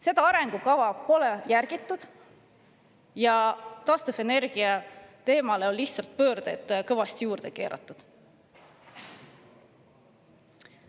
Seda arengukava pole järgitud ja taastuvenergia teemale on lihtsalt pöördeid kõvasti juurde keeratud.